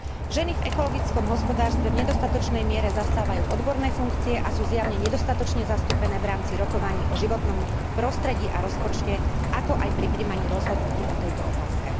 Ženy v ekologickom hospodárstve v nedostatočnej miere zastávajú odborné funkcie a sú zjavne nedostatočne zastúpené v rámci rokovaní o životnom prostredí a rozpočte, ako aj pri prijímaní rozhodnutí o tejto otázke.